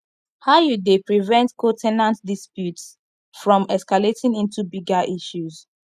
how you dey prevent co ten ant disputes from escalating into bigger issues